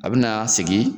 A bɛna sigi